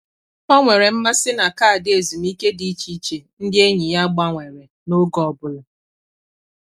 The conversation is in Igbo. Ọ nwere mmasị na kaadị ezumike dị iche iche ndị enyi ya gbanwere n’oge ọ bụla.